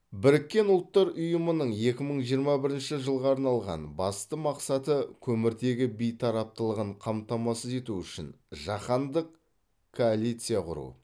біріккен ұлттар ұйымының екі мың жиырма бірінші жылға арналған басты мақсаты көміртегі бейтараптылығын қамтамасыз ету үшін жаһандық коалиция құру